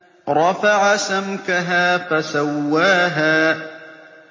رَفَعَ سَمْكَهَا فَسَوَّاهَا